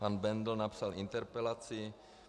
Pan Bendl napsal interpelaci.